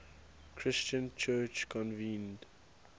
christian church convened